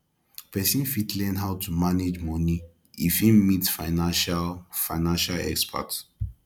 person fit learn how to manage money if im meet financial financial expert